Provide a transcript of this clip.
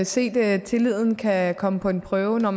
set at tilliden kan komme på en prøve når